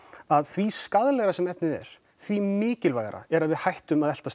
að því skaðlegri sem efnið er því mikilvægara er að við hættum að eltast